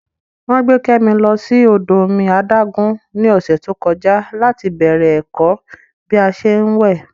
Wọ́n gbé Kẹ́mi lọ sí odò omi adágún ní ọ̀sẹ̀ tó kọjá láti bẹ̀rẹ̀ ẹ̀kọ́ bí a ṣé ń wẹ̀